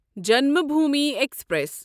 Janmabhoomi express